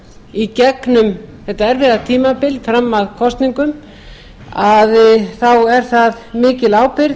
í gegnum þetta erfiða tímabil fram að kosningum að þá er það mikil ábyrgð